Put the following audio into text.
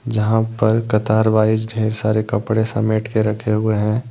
यहां पर कतार वाइस ढेर सारे कपड़े समेट के रखे हुए हैं।